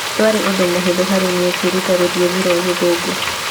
Ndwarĩ ũndũ mũhũthũ harĩ niĩ kwĩruta rũthiomi rwa Gĩthũngũ